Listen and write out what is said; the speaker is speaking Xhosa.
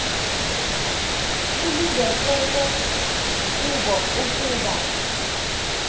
kulindeleke kubo ukuba